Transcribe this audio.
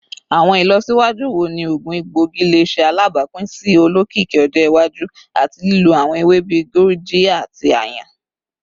Awọn ilọsiwaju wo ni oogun egboigi le ṣe alabapin si olokiki ọjọ iwaju ati lilo awọn ewe bii gurjiya ati ayan?